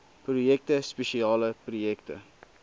projekte spesiale projekte